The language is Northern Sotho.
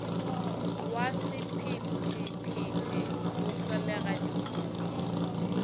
wa sephethephethe go hlolega dikotsi